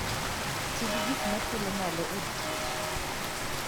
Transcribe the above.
Ti gi gik ma thulo malo od kich.